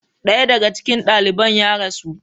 Daya daga cikin daliban ya rasu.